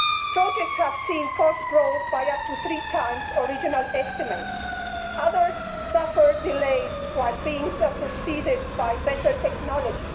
Projects have seen costs grow by up to three times their original estimates others suffer delays while being superseded by better technology.